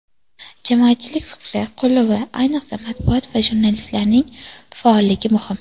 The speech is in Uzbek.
Jamoatchilik fikri, qo‘llovi, ayniqsa, matbuot va jurnalistlarning faolligi muhim.